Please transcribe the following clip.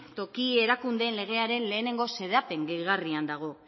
toki erakundeen legearen lehenengo xedapen gehigarrian dago